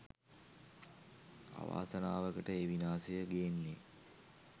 අවාසනාවකට ඒ විනාසය ගේන්නෙ